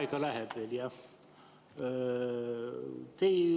Aega läheb veel, jah.